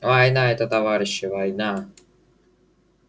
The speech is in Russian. война это товарищи война